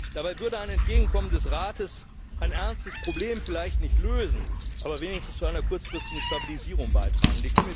Dabei würde ein Entgegenkommen des Rates ein ernstes Problem vielleicht nicht lösen, aber wenigstens zu einer kurzfristigen Stabilisierung beitragen.